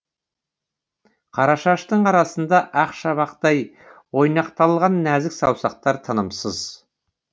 қара шаштың арасында ақ шабақтай ойнақталған нәзік саусақтар тынымсыз